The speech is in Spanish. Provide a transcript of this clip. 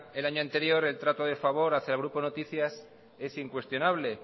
el año anterior el trato de favor hacia el grupo noticias es incuestionable